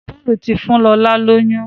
Paul tí fún lọla lóyún.